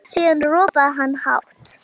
Síðan ropaði hann hátt.